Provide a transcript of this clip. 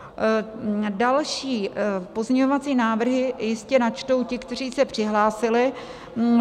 Další pozměňovací návrhy jistě načtou ti, kteří se přihlásili.